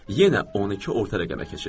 Yenə 12 orta rəqəmə keçir.